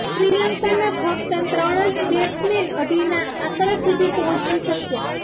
શ્રીલંકાના ફક્ત ત્રણ જ બેટ્સમેન અઢીના આકડા સુધી પહોંચી શક્યા